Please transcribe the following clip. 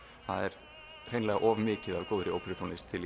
það er hreinlega of mikið af góðri óperutónlist til í